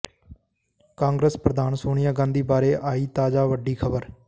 ਕਾਂਗਰਸ ਪ੍ਰਧਾਨ ਸੋਨੀਆ ਗਾਂਧੀ ਬਾਰੇ ਆਈ ਤਾਜਾ ਵੱਡੀ ਖਬਰ